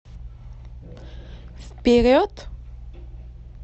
вперед